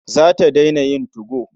Za ta daina yin 2go.